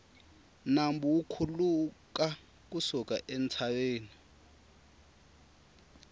nambu wu khuluka ku suka entshaveni